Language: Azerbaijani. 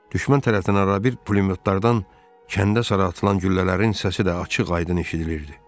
Düşmən tərəfindən arabir pulemyotlardan kəndə sarı atılan güllələrin səsi də açıq-aydın eşidilirdi.